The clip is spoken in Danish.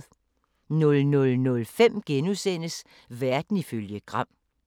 00:05: Verden ifølge Gram *